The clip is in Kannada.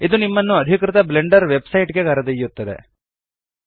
ಇದು ನಿಮ್ಮನ್ನು ಅಧಿಕೃತ ಬ್ಲೆಂಡರ್ ವೆಬ್ಸೈಟ್ ಗೆ ಕರೆದೊಯ್ಯುತ್ತದೆ